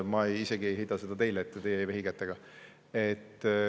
Ma ei heida seda teile ette, teie ei vehi kätega.